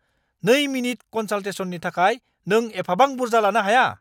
2-मिनिट कनसाल्टेसननि थाखाय नों एफाबां बुरजा लानो हाया!